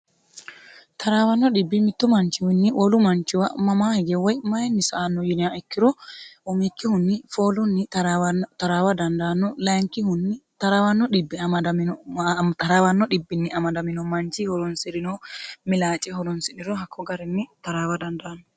taraawanno dhibbi mitto manchiwiinni wolu manchiwa mamaa hige woy mayinni saanno yinia ikkiro umikkihunni foolunni taraawa dandaanno layinkihunni taraawanno dhibbinni amadamino manchi horoonsrino milaace horoonsiriro hakko garinni taraawa dandaanno.